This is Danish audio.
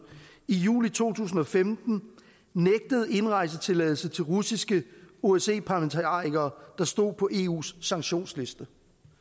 i juli to tusind og femten nægtede indrejsetilladelse til russiske osce parlamentarikere der stod på eus sanktionsliste